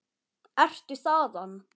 Ertu þaðan?